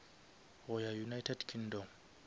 go ya united kingdom